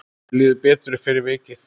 Mér líður betur fyrir vikið.